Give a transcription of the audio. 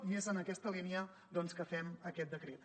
i és en aquesta línia doncs que fem aquest decret